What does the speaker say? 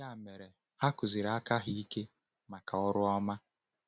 Ya mere, ha kụziri aka ha ike maka ọrụ ọma.”